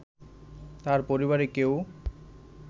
তার পরিবারের কেউ